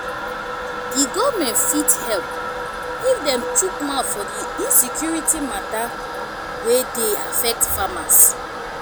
di government fit help if dem chook mouth for di insecurity matter wey dey affect farmers